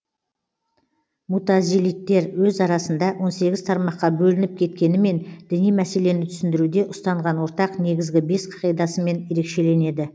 мутазилиттер өз арасында он сегіз тармаққа бөлініп кеткенімен діни мәселені түсіндіруде ұстанған ортақ негізгі бес қағидасымен ерекшеленеді